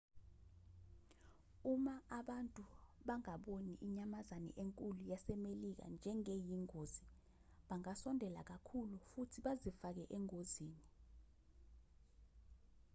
uma abantu bangaboni inyamazane enkulu yasemelika njengeyingozi bangasondela kakhulu futhi bazifake engozini